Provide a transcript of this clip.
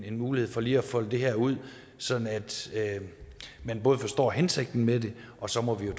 en mulighed for lige at folde det her ud sådan at man både forstår hensigten med det og så må vi jo